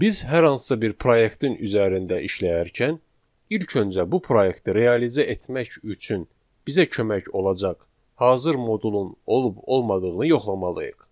Biz hər hansısa bir proyektin üzərində işləyərkən, ilk öncə bu proyektləri realizə etmək üçün bizə kömək olacaq hazır modulun olub olmadığını yoxlamalıyıq.